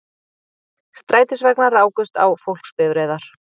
Strætisvagnar rákust á fólksbifreiðar